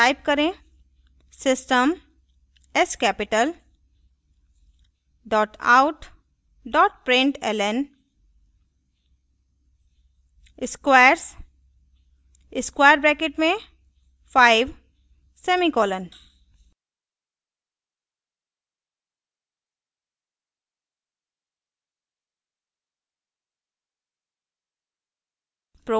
type करें system s capital out println squares 5;